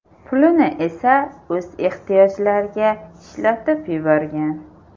Pulini esa o‘z ehtiyojlariga ishlatib yuborgan.